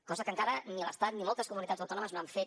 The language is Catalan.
cosa que encara ni l’estat ni moltes comunitats autònomes no han fet